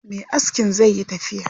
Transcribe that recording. Me askin zai yi tafiya.